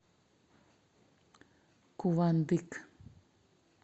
кувандык